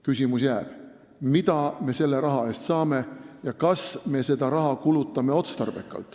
Küsimus jääb: mida me selle raha eest saame ja kas me kulutame seda raha otstarbekalt?